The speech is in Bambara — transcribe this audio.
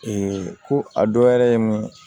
ko a dɔ wɛrɛ ye mun ye